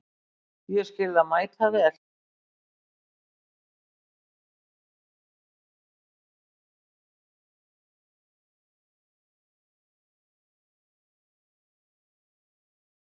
Ég skil það mæta vel.